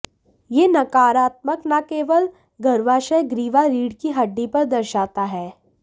यह नकारात्मक न केवल गर्भाशय ग्रीवा रीढ़ की हड्डी पर दर्शाता है